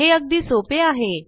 हे अगदी सोपे आहे